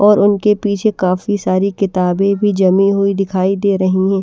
और उनके पीछे काफी सारी किताबें भी जमी हुई दिखाई दे रही हैं।